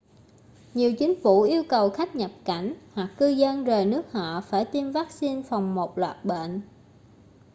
nhiều chính phủ yêu cầu khách nhập cảnh hoặc cư dân rời nước họ phải tiêm vắc-xin phòng một loạt bệnh